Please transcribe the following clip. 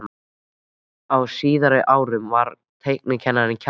Á síðara árinu var teiknikennarinn Kjartan